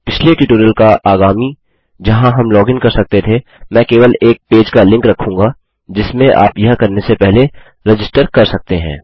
पिछले ट्यूटोरियल का आगामी जहाँ हम लॉगिन कर सकते थे मैं केवल एक पेज का लिंक रखूँगा जिसमें आप यह करने से पहले रजिस्टर कर सकते हैं